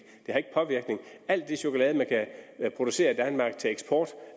alt det chokolade man kan producere i danmark til eksport